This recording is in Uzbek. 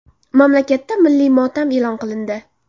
Mamlakatda milliy motam e’lon qilindi .